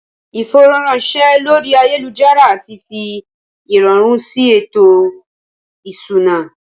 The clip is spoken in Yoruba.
Ìfowóránṣẹ́ lórí ayélujára ti fi ìrọ̀rùn sí ètò ìṣúná